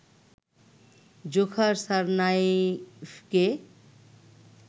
Dzhokhar সারনায়েফকে